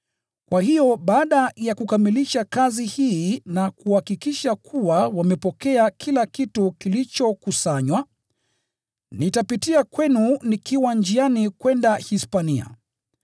Kwa hiyo baada ya kukamilisha kazi hii na kuhakikisha kuwa wamepokea kila kitu kilichokusanywa, nitapitia kwenu nikiwa njiani kwenda Hispania.